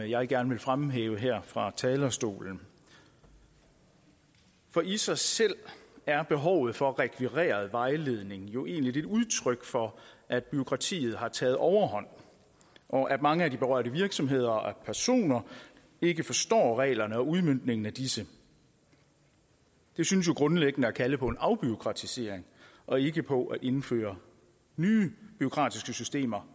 jeg gerne vil fremhæve her fra talerstolen for i sig selv er behovet for rekvireret vejledning jo egentlig et udtryk for at bureaukratiet har taget overhånd og at mange af de berørte virksomheder og personer ikke forstår reglerne og udmøntningen af disse det synes jo grundlæggende at kalde på en afbureaukratisering og ikke på at indføre nye bureaukratiske systemer